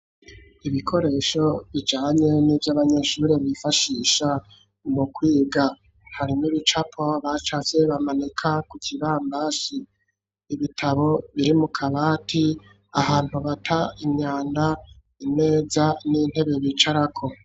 Ibikoresho bijanye n'ivyo abanyeshuri bifashisha mu kwiga. Harimwo ibicapo bacafye bamanika ku kibambazi. Ibitabo biri mu kabati. Ahantu bata imyanda, imeza n'intebe bicarako.